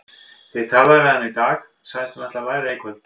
Þegar ég talaði við hana í dag sagðist hún ætla að læra í kvöld.